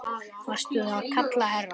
Varstu að kalla, herra?